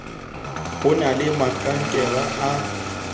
ho na le mabankele a